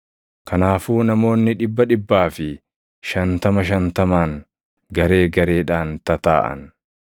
Kanaafuu namoonni dhibba dhibbaa fi shantama shantamaan garee gareedhaan tataaʼan.